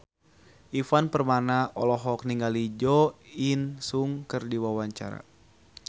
Ivan Permana olohok ningali Jo In Sung keur diwawancara